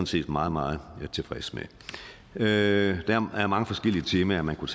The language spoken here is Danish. set meget meget tilfreds med der er mange forskellige temaer man kunne